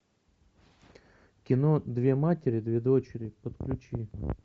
кино две матери две дочери подключи